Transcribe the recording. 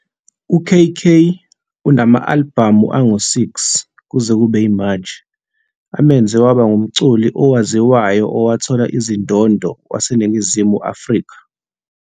UKK unama-albhamu angu-6 kuze kube yimanje, amenze waba ngumculi owaziwayo owathola izindondo waseNingizimu Afrika.